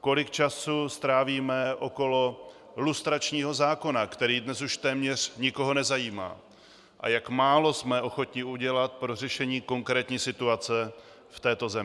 kolik času strávíme okolo lustračního zákona, který dnes už téměř nikoho nezajímá, a jak málo jsme ochotni udělat pro řešení konkrétní situace v této zemi.